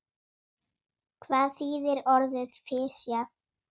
Hvað þýðir orðið fisjað?